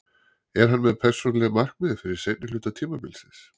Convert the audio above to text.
Er hann með persónuleg markmið fyrir seinni hluta tímabilsins?